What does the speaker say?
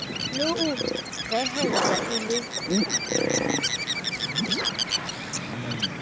le ho rehellwa e le